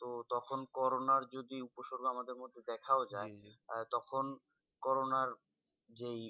তো তখন করোনার যদি উপস্বর্গ আমাদের মধ্যে দেখাও যায় তখন করোনার যেই